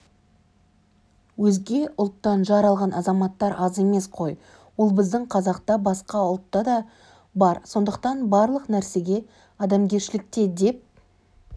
өзге ұлттан жар алған азаматтар аз емес қой ол біздің қазақта да басқа ұлтта да бар сондықтан барлық нәрсе адамгершілікте деп